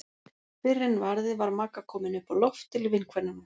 Fyrr en varði var Magga komin upp á loft til vinkvennanna.